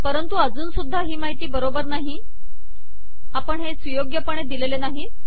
परंतु अजुन सुद्धा ही माहिती बरोबर नाही आपण हे सुयोग्यपणे दिलेले नाहीत